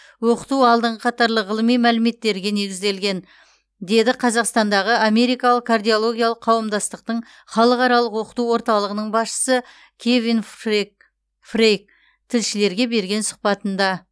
оқыту алдыңғы қатарлы ғылыми мәліметтерге негізделген деді қазақстандағы америкалық кардиологиялық қауымдастықтың халықаралық оқыту орталығының басшысы кевин фрей фрейк тілшілерге берген сұхбатында